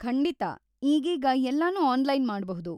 ಖಂಡಿತ! ಈಗೀಗ ಎಲ್ಲನೂ ಆನ್‌ಲೈನ್‌ ಮಾಡ್ಬಹುದು.